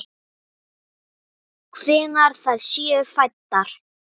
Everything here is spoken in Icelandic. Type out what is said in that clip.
Hvenær þær séu fæddar!